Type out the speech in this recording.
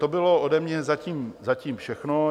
To bylo ode mě zatím všechno.